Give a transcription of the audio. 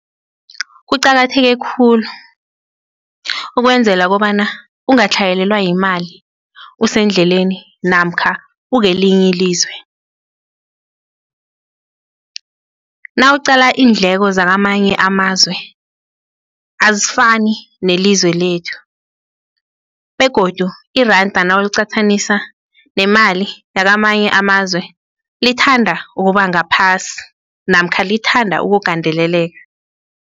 Kuqakatheke khulu ukwenzela kobana angatlhayelelwa yimali usendleleni namkha ukelinye ilizwe, nawuqala iindleko zakamanye amazwe, azifani nelizwe lethu begodu iranda nawuliqathanisa nemali yakamanye amazwe lithanda ukubangaphasi namkha lithanda ukugandeleleka.